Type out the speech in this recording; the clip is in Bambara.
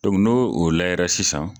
n'o o lajɛla sisan